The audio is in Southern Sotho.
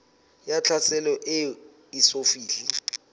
ya tlhaselo e eso fihle